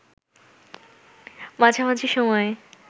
মাঝামাঝি সময়ে